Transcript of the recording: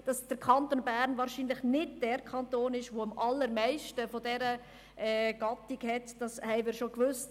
Dass der Kanton Bern wahrscheinlich nicht der Kanton ist, der am allermeisten solche Steuersubjekte hat, haben wir schon gewusst.